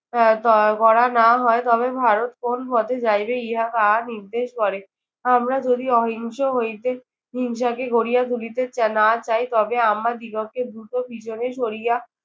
আহ তা করা না হয় তবে ভারত কোন পথে যাইবে ইহা কার নির্দেশ করে। আমরা যদি অহিংস হইতে হিংসাকে গড়িয়া তুলিতে না চাই তবে আমাদিগকে দ্রুত পিছনে সরিয়ে